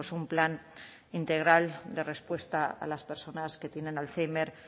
un plan integral de respuesta a las personas que tienen alzhéimer